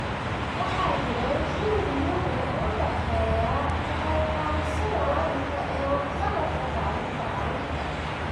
Waxa jiray xidhiidh mug leh oo u dhexeeya ka qayb qaadashada waalidka ee waxqabadka tacliinta carruurta.